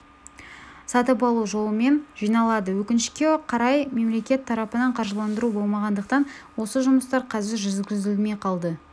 сатып алу жолымен жиналады өкінішке қарай мемлекет тарапынан қаржыландыру болмағандықтан осы жұмыстар қазір жүргізілмей қалды